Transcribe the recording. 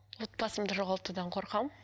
отбасымды жоғалтудан қорқамын